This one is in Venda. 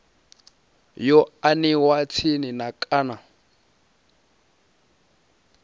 yo aniwa tsini na kana